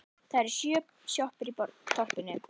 Það eru sjö sjoppur í þorpinu!